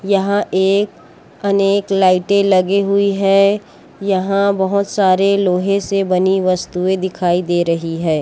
यहाँ एक अनेक लाइटे लगी हुई है यहाँ बोहोत सारे लोहे से बनी वस्तुए दिखाई दे रही है।